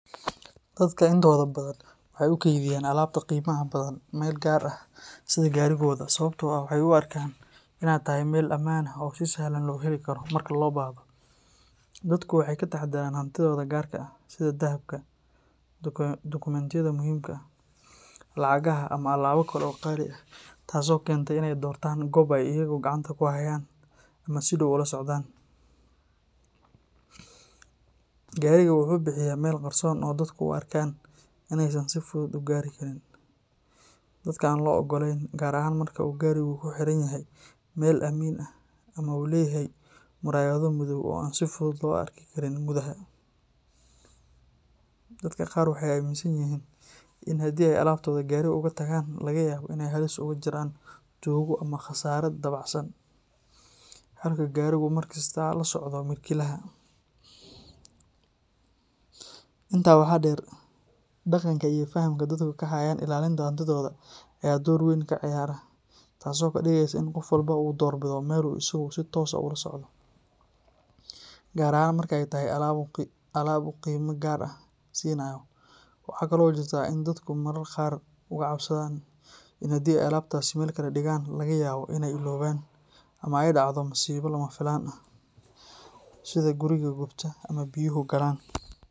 Dadka intooda badan waxay u kaydiyaan alaabta qiimaha badan meel gaar ah sida gaarigooda sababtoo ah waxay u arkaan inay tahay meel ammaan ah oo si sahlan loo heli karo marka loo baahdo. Dadku waxay ka taxadaraan hantidooda gaarka ah, sida dahabka, dukumentiyada muhiimka ah, lacagaha ama alaabo kale oo qaali ah, taasoo keenta in ay doortaan goob ay iyagu gacanta ku hayaan ama si dhow ula socdaan. Gaariga wuxuu bixiyaa meel qarsoon oo dadku u arkaan inaysan si fudud u gaari karin dadka aan loo oggolayn, gaar ahaan marka uu gaarigu ku xiran yahay meel aamin ah ama uu leeyahay muraayado madow oo aan si fudud loo arki karin gudaha. Dadka qaar waxay aaminsan yihiin in haddii ay alaabtooda guriga uga tagaan, laga yaabo in ay halis ugu jiraan tuugo ama khasaare dabacsan, halka gaarigu uu markasta la socdo milkiilaha. Intaa waxaa dheer, dhaqanka iyo fahamka dadku ka hayaan ilaalinta hantidooda ayaa door weyn ka ciyaara, taasoo ka dhigaysa in qof walba u doorbido meel uu isagu si toos ah ula socdo, gaar ahaan marka ay tahay alaab uu qiimo gaar ah siinayo. Waxaa kaloo jirta in dadku mararka qaar uga cabsadaan in haddii ay alaabtaasi meel kale dhigaan, laga yaabo in ay illoobaan ama ay dhacdo masiibo lama filaan ah, sida guri gubta ama biyuhu galaan.